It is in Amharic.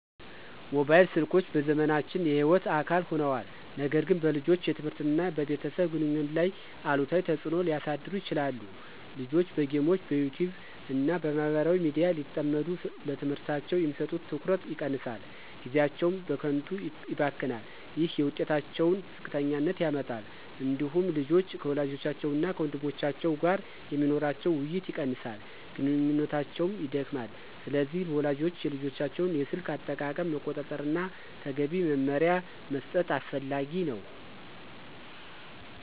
ሞባይል ስልኮች በዘመናችን የሕይወት አካል ሆነዋል፣ ነገር ግን በልጆች የትምህርት እና በቤተሰብ ግንኙነት ላይ አሉታዊ ተጽዕኖ ሊያሳድሩ ይችላሉ። ልጆች በጌሞች፣ በYouTube እና በማህበራዊ ሚዲያ ሲጠመዱ ለትምህርታቸው የሚሰጡት ትኩረት ይቀንሳል፣ ጊዜያቸውም በከንቱ ይባክናል። ይህ የውጤታቸውን ዝቅተኛነት ያመጣል። እንዲሁም ልጆች ከወላጆቻቸው እና ከወንድሞቻቸው ጋር የሚኖራቸው ውይይት ይቀንሳል፣ ግንኙነታቸውም ይደክማል። ስለዚህ ወላጆች የልጆቻቸውን የስልክ አጠቃቀም መቆጣጠር እና ተገቢ መመሪያ መስጠት አስፈላጊ ነው።